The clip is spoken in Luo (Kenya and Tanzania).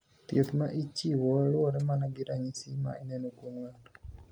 Thieth ma ichiwo luwore mana gi ranyisi ma ineno kuom nga'to.